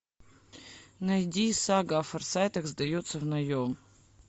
найди сага о форсайтах сдается в наем